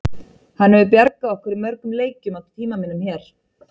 Hann hefur bjargað okkur í mörgum leikjum á tíma mínum hér.